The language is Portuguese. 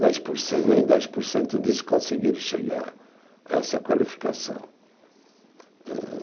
Dez por cento, nem dez por cento disso conseguiram chegar a essa qualificação. Âh